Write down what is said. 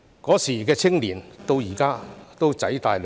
當年的青年到了今天，已經"仔大女大"。